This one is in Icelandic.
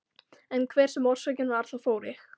En hver sem orsökin var þá fór ég.